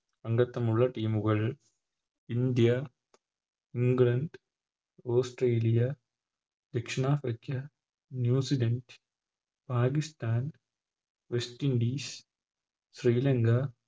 അംഗത്തമുള്ള Team കൾ India England Australia ദക്ഷിണാഫ്രിക്ക New Zealand Pakistan West Indies Sri Lanka